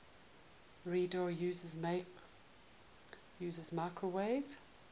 radar uses microwave